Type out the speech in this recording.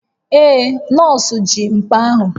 Ee, nọọsụ ji mkpa ahụ